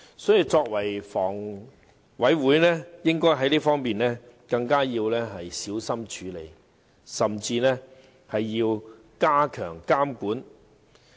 所以，房委會在此方面應該更小心處理，甚至要加強監管。